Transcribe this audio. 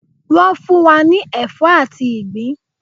Wọ́n fún wa ní ẹ̀fọ́ àti ìgbín